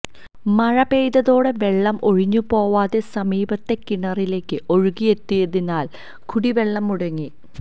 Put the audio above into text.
മഴ പെയ്തതോടെ വെള്ളം ഒഴിഞ്ഞുപോവാതെ സമീപത്തെ കിണറിലേക്ക് ഒഴുകിയെത്തിയതിനാല് കുടിവെള്ളം മുടങ്ങി